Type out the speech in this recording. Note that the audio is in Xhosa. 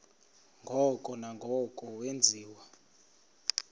ngoko nangoko wenziwa